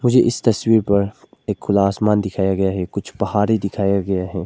ये इस तस्वीर पर एक खुला आसमान दिखाया गया है कुछ पहाड़े दिखाया गया है।